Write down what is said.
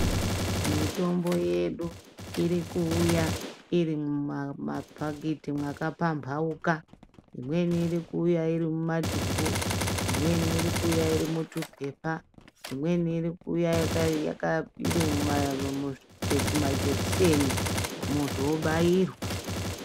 Mitombo yedu irikuwuya irimuma phakethi makaphambauka. Imweni irikuya irimumadumbu, imweni irikuya irimutuphepha, imweni irikuya irimumajekiseni muntu obairwa.